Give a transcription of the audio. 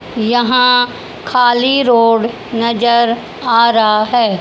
यहां खाली रोड नजर आ रहा है।